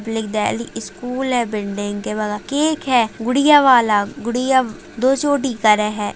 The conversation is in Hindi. एक देहली स्कूल है बिल्डिंग के बगल केक है गुड़िया वाला। गुड़िया दो चोटी करे है।